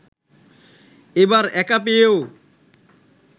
এবার একা পেয়েও